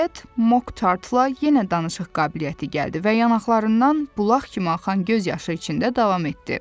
nəhayət Mok Tartla yenə danışıq qabiliyyəti gəldi və yanaqlarından bulaq kimi axan göz yaşı içində davam etdi.